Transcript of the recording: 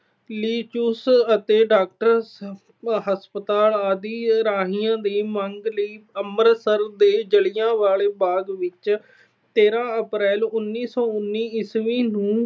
ਅਤੇ doctor ਹਸਪਤਾਲ ਆਦਿ ਰਾਹੀਂ ਦੀ ਮੰਗ ਲਈ ਅੰਮ੍ਰਿਤਸਰ ਦੇ ਜਲਿਆਂਵਾਲੇ ਬਾਗ ਵਿੱਚ ਤੇਰਾਂ ਅਪ੍ਰੈਲ, ਉਨੀ ਸੌ ਉਨੀ ਈਸਵੀ ਨੂੰ